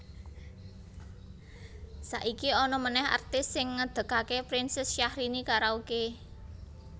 Saiki ana meneh artis sing ngedegake Princess Syahrini Karaoke